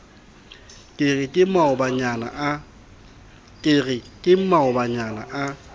ke re ke maobanyana a